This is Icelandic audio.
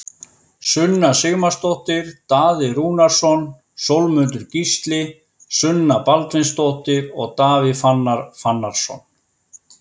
Sunna Sigmarsdóttir, Daði Rúnarsson, Sólmundur Gísli, Sunna Baldvinsdóttir og Davíð Fannar Fannarsson